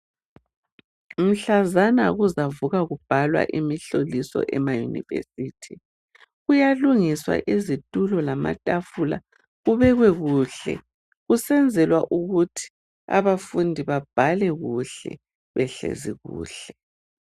Mhlazana kuzavukwa kubhalwa imihloliso emaYunivesi, kuyalungiswa izitulo lamatafula kubekwe kuhle kusenzelwa ukuthi abafundi babhale kuhle behlezi kuhle.